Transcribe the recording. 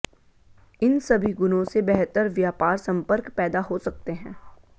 इन सभी गुणों से बेहतर व्यापार संपर्क पैदा हो सकते हैं